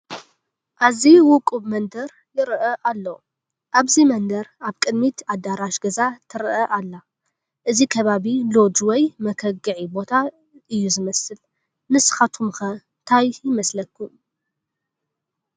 ኣዝዩ ውቁብ መንደር ይርአ ኣሎ፡፡ ኣብዚ መንደር ኣብ ቅድሚት ኣዳራሽ ገዛ ትርአ ኣላ፡፡ እዚ ከባቢ ሎጅ ወይ መከግዒ ቦታ እዩ ዝመስል፡፡ ንስኻትኩም ከ ታይ ይመስለኩም?